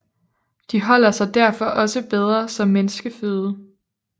De holder sig derfor også bedre som menneskeføde